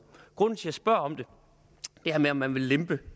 grunden til at jeg spørger om det her med at man vil lempe